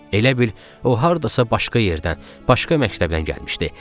Elə bil o hardasa başqa yerdən, başqa məktəbdən gəlmişdi.